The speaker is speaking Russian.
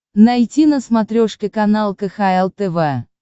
найти на смотрешке канал кхл тв